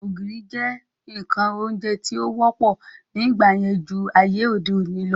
Ògìrì jẹ́ ǹkan oúnjẹ tí ó wọ́pọ̀ ní ìgbà yẹn ju ayé òde òni lọ